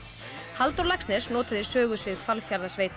Halldór Laxness notaði sögusvið Hvalfjarðarsveitar